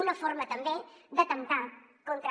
una forma també d’atemptar contra